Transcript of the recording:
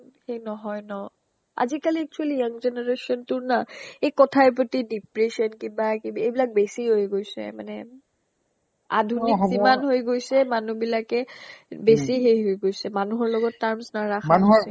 সেই নহয় ন আজিকালি actually young generationটোৰ না এ কথাই প্ৰতি depression কিবা কিবি এইবিলাক বেছি হৈ গৈছে মানে আধুনিক যিমান হৈ গৈছে মানুহবিলাকে এ বেছি সেই হৈ গৈছে মানুহৰ লগত terms নাৰাখা হৈছে